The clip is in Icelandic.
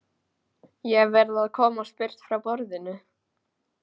Ég verð að komast burt frá borðinu.